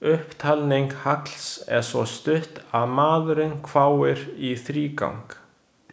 Upptalning Halls er svo stutt að maðurinn hváir í þrígang.